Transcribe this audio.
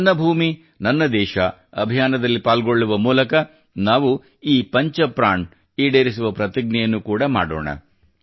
ನನ್ನ ಭೂಮಿ ನನ್ನ ದೇಶ ಅಭಿಯಾನದಲ್ಲಿ ಪಾಲ್ಗೊಳ್ಳುವ ಮೂಲಕ ನಾವು ಈ ಪಂಚ ಪ್ರಾಣ್ ಈಡೇರಿಸುವ ಪ್ರತಿಜ್ಞೆಯನ್ನು ಕೂಡಾ ಮಾಡೋಣ